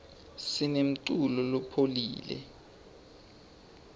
sinemculo lophoule